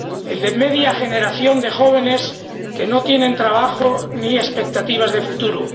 el de media generación de jóvenes que no tienen trabajo ni expectativas de futuro